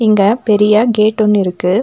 அங்க பெரிய கேட் ஒன்னு இருக்கு.